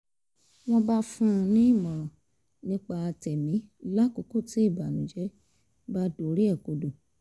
wọ́n bá fún un nímọ̀ràn nípa tẹ̀mí lákòókò tí ìbànújẹ́ bá dorí rẹ̀ kodò